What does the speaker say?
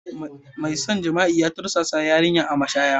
Mai shan jima'i ya tursasa yarinyar a mashaya.